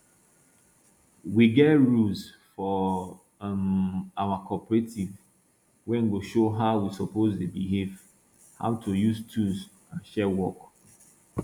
we get rules for um our cooperative wey go show how we suppose dey behave how to use tools and share work